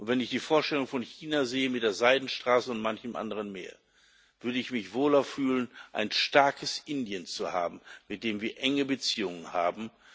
Wenn ich die Vorstellung von China sehe mit der Seidenstraße und manchem anderen mehr, würde ich mich wohler fühlen, ein starkes Indien zu haben, mit dem wir enge Beziehungen haben.